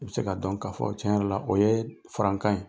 I be se ka dɔn k'a fɔ tiɲɛ yɛrɛ la, o yee farankan ye.